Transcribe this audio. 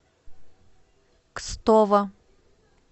кстово